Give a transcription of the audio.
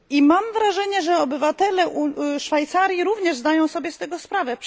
Mam wrażenie, że obywatele Szwajcarii również zdają sobie z tego sprawę.